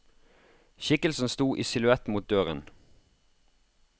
Skikkelsen sto i silhuett mot døra.